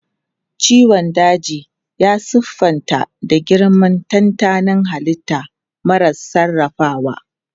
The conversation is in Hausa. Ciwon daji ya siffanta da girmar tantanin halitta mara sarrafawa.